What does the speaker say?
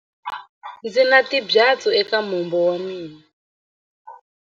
Ndzi na timbyatsu eka mombo wa mina.